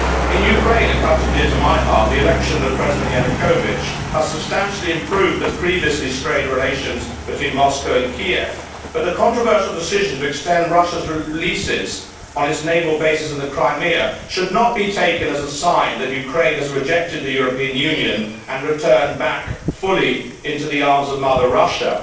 In Ukraine, a country dear to my heart, the election of President Yanukovich has substantially improved the previously strained relations between Moscow and Kiev, but the controversial decision to extend Russia's leases on its naval bases in the Crimea should not be taken as a sign that Ukraine has rejected the European Union and returned fully into the arms of Mother Russia.